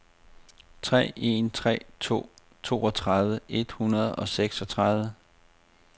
tre en tre to toogtredive et hundrede og seksogtredive